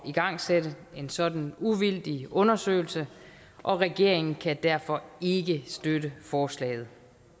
igangsætte en sådan uvildig undersøgelse og regeringen kan derfor ikke støtte forslaget